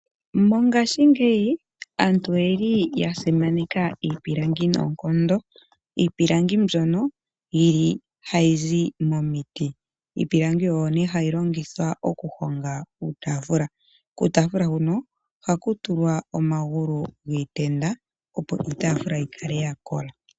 Mongashingeyi aantu oyeli ya simaneka iipilangi noonkondo, iipilangi mbyono yili hayi zi momiti. Oyo nee hayi longithwa okuhonga uutaafula, kuutaafula huno ohaku tulwa omagulu giitenda opo iitaafula yi kale ya kola.